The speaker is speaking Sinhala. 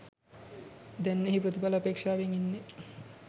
දැන් එහි ප්‍රතිඵල අපේක්‍ෂාවෙන් ඉන්නේ.